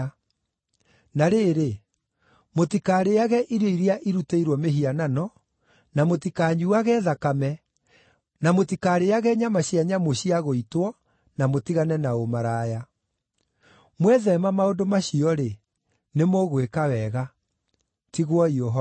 Na rĩrĩ, mũtikarĩĩage irio iria irutĩirwo mĩhianano, na mũtikanyuuage thakame, na mũtikarĩĩage nyama cia nyamũ cia gũitwo, na mũtigane na ũmaraya. Mwetheema maũndũ macio-rĩ, nĩmũgwĩka wega. Tigwoi ũhoro.